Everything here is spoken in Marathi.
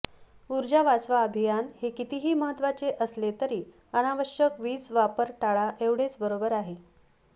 ऊर्जा वाचवा अभियान हे कितीही महत्त्वाचे असले तरी अनावश्यक वीज वापर टाळा एवढेच बरोबर आहे